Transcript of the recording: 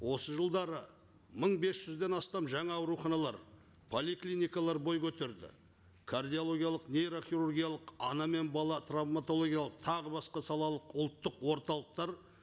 осы жылдары мың бес жүзден астам жаңа ауруханалар поликлиникалар бой көтерді кардиологиялық нейрохирургиялық ана мен бала травматологиялық тағы басқа салалық ұлттық орталықтар